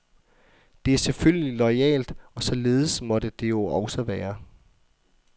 Det er selvfølgelig loyalt, og således måtte det jo også være.